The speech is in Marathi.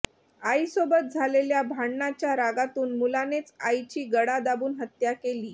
आईसोबत झालेल्या भांडणाच्या रागातून मुलानेच आईची गळा दाबून हत्या केली